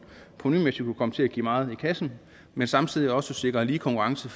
kunne komme til at give meget i kassen men samtidig også sikrer lige konkurrence